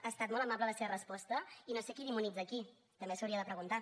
ha estat molt amable la seva resposta i no sé qui demonitza a qui també s’ho hauria de preguntar